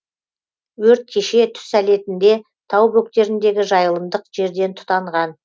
өрт кеше түс әлетінде тау бөктеріндегі жайылымдық жерден тұтанған